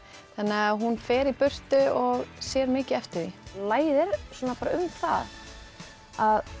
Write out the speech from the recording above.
þannig að hún fer í burtu og sér mikið eftir því lagið er um það